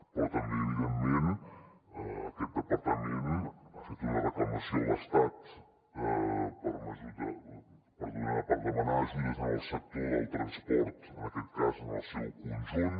però també evidentment aquest departament ha fet una reclamació a l’estat per demanar ajudes en el sector del transport en aquest cas en el seu conjunt